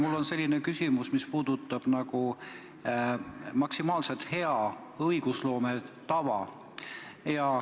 Mul on selline küsimus, mis puudutab maksimaalselt head õigusloome tava.